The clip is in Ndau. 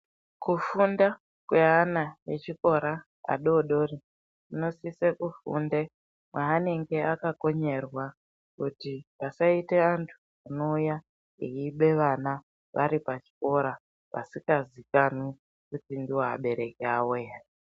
Kufunda kweana echikora adodori kunosise kufunde kwaanenge akakonyerwa kuti pasaite antu anouya achiba vana varipachikora vasinga zikanwi kuti ndovabereki vavo here.